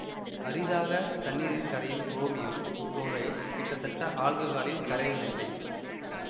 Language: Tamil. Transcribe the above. அரிதாக தண்ணீரில் கரையும் குரோமியம் புளோரைடு கிட்டத்தட்ட ஆல்ககாலில் கரைவதில்லை